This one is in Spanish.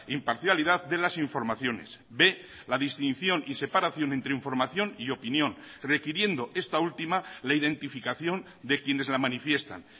imparcialidad de las informaciones b la distinción y separación entre información y opinión requiriendo esta última la identificación de quienes la manifiestan